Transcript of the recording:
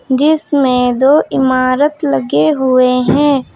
जिसमें दो इमारत लगे हुए हैं।